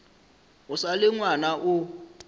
o sa le ngwana o